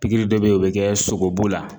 Pikiri dɔ be ye o be kɛ sogobu la